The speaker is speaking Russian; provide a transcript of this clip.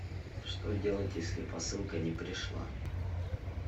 что делать если посылка не пришла